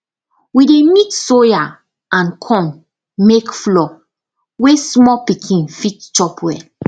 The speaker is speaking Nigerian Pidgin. we dey mix soya and corn make flour wey small pikin fit chop well